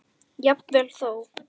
Jafnvel þó